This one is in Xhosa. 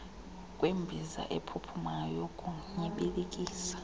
kwembiza ephuphumayo yokunyibilikisa